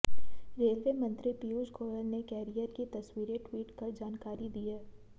railway मंत्री पियूष गोयल ने carrier की तस्वीरें ट्वीट कर जानकारी दी है